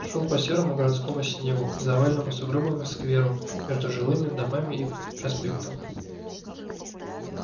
шёл по серому городскому снегу к заваленному сугробами скверу между жилыми домами и проспектом